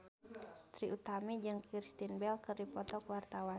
Trie Utami jeung Kristen Bell keur dipoto ku wartawan